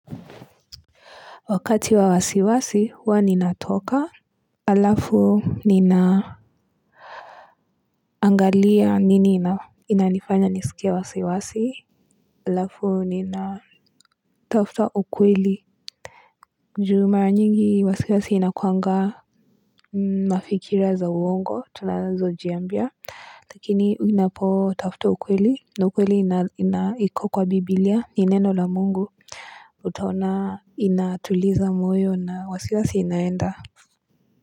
Wakati wa wasiwasi huwa ninatoka. Halafu ninaangalia nini inanifanya nisikie wasiwasi. Halafu nina tafuta ukweli. Ju mara nyingi wasiwasi inakuanga mafikira za uongo tunazojiambia. Lakini unapotafuta ukweli na ukweli iko kwa biblia, ni neno la Mungu. Utaona inatuliza moyo na wasiwasi inaenda.